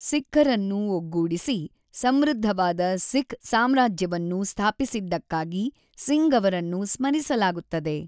ಸಿಖ್ಖರನ್ನು ಒಗ್ಗೂಡಿಸಿ, ಸಮೃದ್ಧವಾದ ಸಿಖ್ ಸಾಮ್ರಾಜ್ಯವನ್ನು ಸ್ಥಾಪಿಸಿದ್ದಕ್ಕಾಗಿ ಸಿಂಗ್ಅನ್ನು ಸ್ಮರಿಸಲಾಗುತ್ತದೆ.